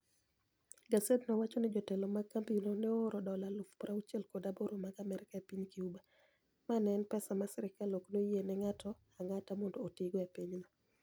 Gasedno wacho nii jotelo mag kambino ni e ooro dola 68,000 mag Amerka ni e piniy Cuba, ma eni pesa ma sirkal ni e ok oyieni e nig'ato anig'ata monido otigo e piny no.